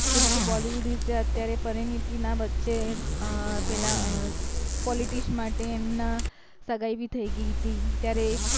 કેમ કે bollywood વિષે અત્યારે પરીનીતી ના વછે અ પેલા અ politics ના માટે એમના સગાઇ ભી થય ગય હતી ત્યારે એ પણ